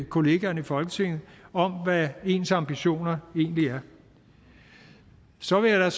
kollegaerne i folketinget hvad ens ambitioner egentlig er og så vil jeg